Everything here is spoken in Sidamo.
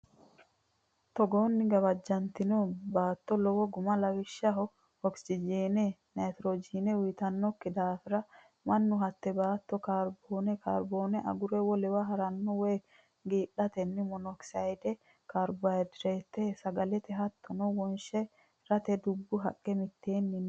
Togoonni gawajjantino baatto lowo guma Lawishshaho Oksijiine naytirojiine uyitannokki daafira mannu hatte baatto kaarboone kaarbooni agure wolewa ha ranno woy giidhatenna monoksayde kaarbondayokisayde sagalete hasatto wonshi rate dubbu haqqe mitteenni nna.